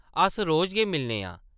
अस रोज गै मिलने आं ।